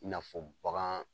I na fɔ bagan